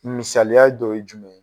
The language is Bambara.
Misaliya dɔ ye jumɛn ?